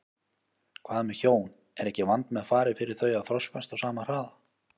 Hvað með hjón, er ekki vandmeðfarið fyrir þau að þroskast á sama hraða?